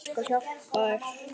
Ég skal hjálpa þér.